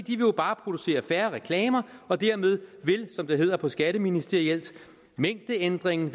jo bare producere færre reklamer og dermed vil som det hedder på skatteministerielt mængdeændringen